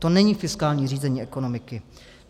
To není fiskální řízení ekonomiky.